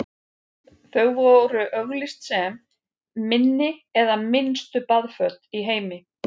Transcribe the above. þau voru auglýst sem „minni en minnstu baðföt í heimi“